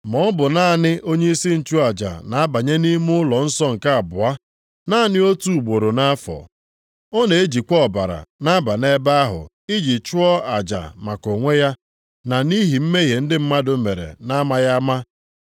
Ma ọ bụ naanị onyeisi nchụaja na-abanye nʼime ọnụụlọ nsọ nke abụọ, naanị otu ugboro nʼafọ. Ọ na-ejikwa ọbara na-aba nʼebe ahụ, iji chụọ aja maka onwe ya na nʼihi mmehie ndị mmadụ mere na-amaghị ama.